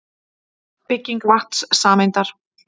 Bygging vatnssameindar.